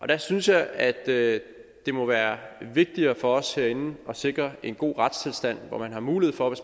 der synes jeg at det må være vigtigere for os herinde at sikre en god retstilstand hvor man har mulighed for